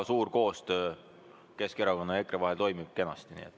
Koostöö Keskerakonna ja EKRE vahel toimib kenasti.